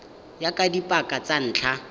ya ka dipaka tsa ntlha